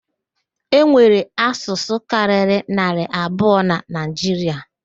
E nwere asụsụ karịrị naarị abụọ na Naịjiria